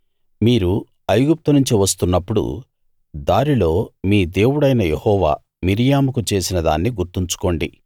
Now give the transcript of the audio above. మీరు ఐగుప్తు నుంచి వస్తున్నప్పుడు దారిలో మీ దేవుడైన యెహోవా మిర్యాముకు చేసిన దాన్ని గుర్తుంచుకోండి